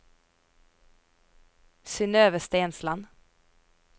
Synøve Stensland